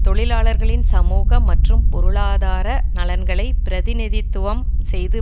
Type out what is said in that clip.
தொழிலாளர்களின் சமூக மற்றும் பொருளாதார நலன்களை பிரதிநிதித்துவம் செய்து